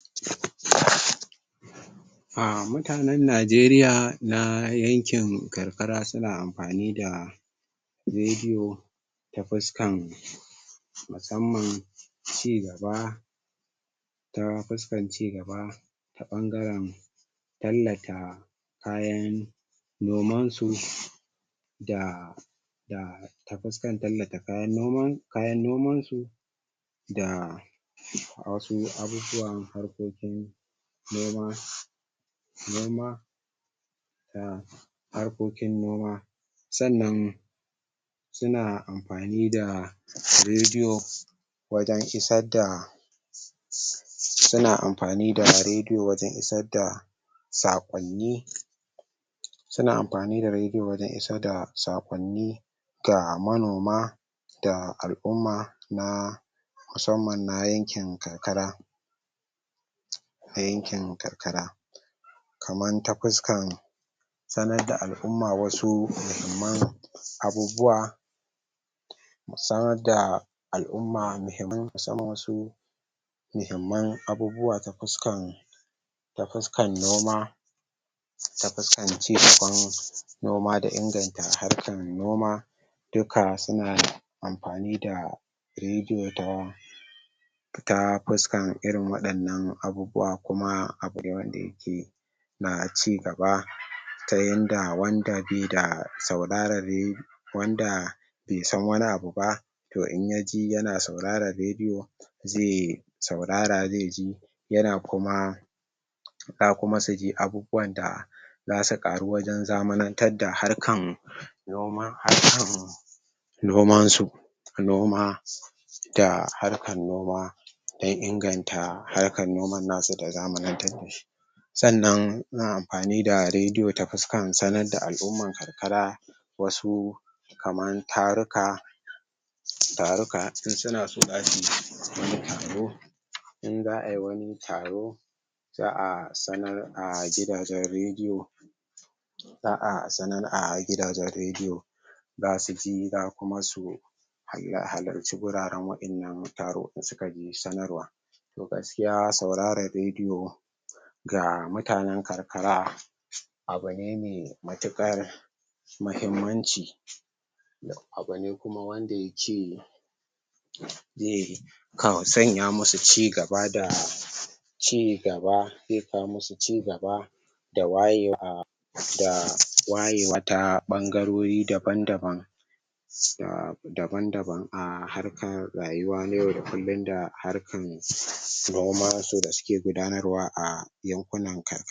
Mutanen Najeriya na yankin karkara suna amfani da rediyo ta fuskan musamman ci gaba ta fuskan ci gaba ta ɓangaren tallata kayan noman su da da ta fuskan tallata kayan noman su da wasu abubuwan harkokin noma noma da harkokin noma. Sannan suna amfani da rediyo wajen isar da suna amfani da rediyo wajen isar da saƙonni suna amfani da rediyo wajen isar da saƙonni ga manoma da al'umma na musamman na yankin karkara. na yankin karkara. Kaman ta fuskan sanar da al'umma wasu muhimman abubuwa mu sanar da al'umma muhimman muhimman abubuwa ta fuskan ta fuskan noma ta fuskan ci gaban noma da inganta harkan noma duka suna amfani da rediyo ta fita fuskan irin waɗannan abubuwa kuma abune wanda yake na cigaba ta yanda wanda baida sauraron wanda baisan wani abuba to in yaji yana sauraran rediyo zai saurara zaiji yana kuma za kuma suji abubuwan da zasu ƙaru wajen zamanantar da harkan noma harkan noman su noma da harkan noma dan inganta harkan noman nasu da zamanantar da shi sannan amfani da rediyo ta fuskan sanar da al'umman karkara wasu kaman taruka taruka in sunaso zasuyi wani taro in za'ayi wani taro za'a sanar a gidajen rediyo za'a sanar a gidajen rediyo zasu ji zakuma su halarci guraran wa'innan taro da sukaji sanarwa to gaskiya sauraron rediyo ga mutanen karkara abune mai matukar mahimmanci. Abune kuma wanda yake zai sanya masu cigaba da ci gaba zai kawo masu ci gaba da wayewa da wayewa ta ɓangarori daban-daban daban-daban a harkan rayuwa na yau da kullum da harkan noman su da suke gudanar wa a yankunan